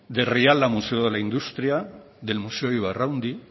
de rialia museo de la industria del museo ibarraundi